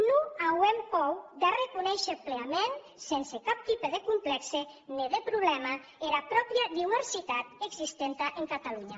non auem pòur d’arreconéisher pleaments sense cap tipe de complèxe ne de problèma era pròpria diuersitat existenta en catalonha